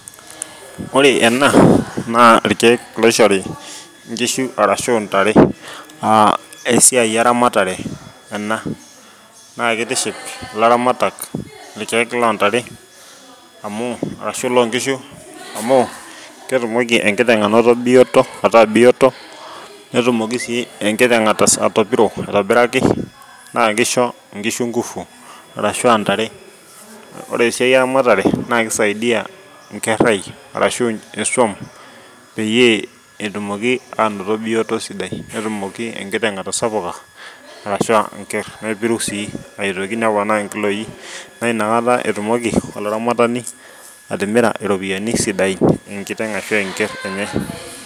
Ore ena naa irkeek oishoro nkishu ashu ntare naa esiai eramatare ena, naa kitiship ilaramatak irkeek loo ntare amu arashu loo nkishu amu ketumoki enkiteng anoto bioto ataa biooto, netumoki si ekiteng ata atopiro aitobiraki naa kisho nkishu nguvu, arshu ntare. Ore esiai eramate naa kisaidia nkerai arashu swam peyie etumoki aanoto bioto sidai netumoki enkiteng atasapuka arshu nker nepiru sii, aitoki neponaa nkiloi naa inakata etumoki olaramatani atimira iropiyiani sidai nkiteng arashu nker enye.